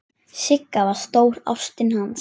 Sigga var stóra ástin hans.